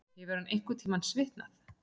Hefur hann einhverntímann svitnað?